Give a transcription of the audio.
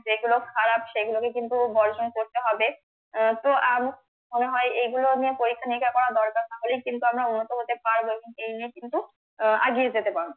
যেগুলো খারাপ সেগুলোকে কিন্তু বর্জন করতে হবে আহ তো উম মনে হয় এগুলো নিয়ে পরীক্ষা নিরীক্ষা করা দরকার তাহলেই কিন্তু আমরা উন্নত হতে পারবো এবং এই নিয়ে কিন্তু আহ এগিয়ে যেতে পারবো